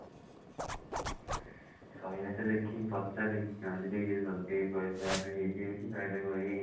ଶହେ ଆଠ ଦେଖିବି ପଚାରେ ରଞ୍ଜିତ ଭାଇ ରଞ୍ଜିତ ଭାଇ ଯଦି କହିବେ ଶହେ ଆଠ ହେଇଯିବ ବୋଲି ଶହେ ଆଠ ଏଇ